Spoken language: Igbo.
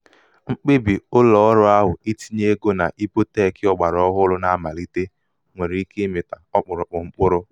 mkpebì ụlọ̀ọrụ̄ ahụ̀ itinye egō na ibotech ọ̀gbàà ọhụrụ̄ na-amàlite nwèrè ike ịmị̀tā ọkpụ̀rụ̀kpụ̀ mkpụrụ